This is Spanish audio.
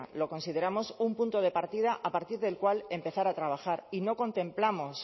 lo consideramos un punto de partida a partir del cual empezar a trabajar y no contemplamos